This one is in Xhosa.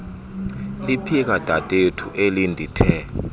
liphika dadethu elindithe